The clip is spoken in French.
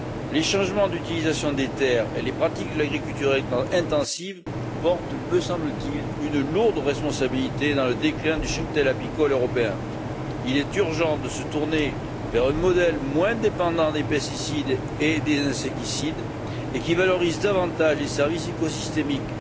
Les changements d'affectation des terres et les pratiques de l'agriculture intensive portent me semble t il une lourde responsabilité dans le déclin du cheptel apicole européen. Il est urgent de se tourner vers un modèle moins dépendant des pesticides et des insecticides et qui valorise davantage les services écosystémiques.